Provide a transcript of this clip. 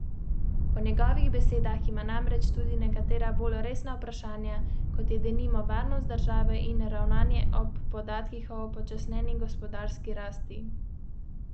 Nekatere borzne družbe pa so na spletni strani Ljubljanske borze objavile za delničarje pomembne informacije, ki jih povzemamo v nadaljevanju.